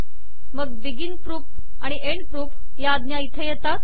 मग begin proof आणि end proof या आज्ञा येथे येतात